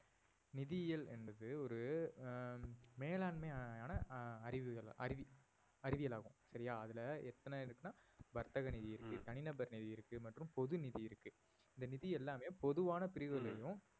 நிதியியல் என்பது ஒரு ஆஹ் மேலாண்மையான ஹம் அறிவுகள்~ அறிவி~ அறிவியல் ஆகும் சரியா அதுல எத்தனை இருக்குனா வர்த்தக நிதி இருக்கு, தனிநபர் நிதி இருக்கு மற்றும் பொது நிதி இருக்கு இந்த நிதி எல்லாமே பொதுவான பிரிவுகள்லயும்